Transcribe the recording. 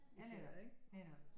Ja netop netop